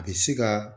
A bɛ se ka